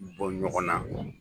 bɔn ɲɔgɔn na.